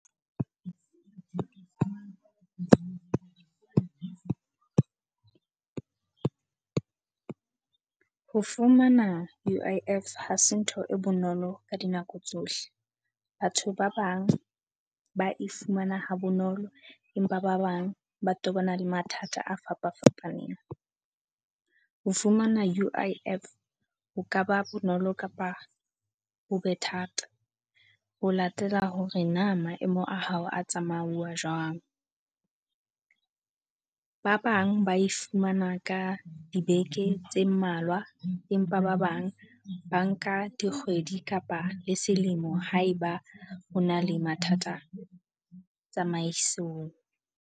Ho fumana U_I_F ha se ntho e bonolo ka dinako tsohle. Batho ba bang ba e fumana ha bonolo, empa ba bang ba tobana le mathata a fapafapaneng. Ho fumana U_I_F ho ka ba bonolo kapa ho be thata ho latela hore na maemo a hao a tsamauwa jwang. Ba bang ba e fumana ka dibeke tse mmalwa, empa ba bang ba nka dikgwedi kapa le selemo haeba ho na le mathata tsamaisong.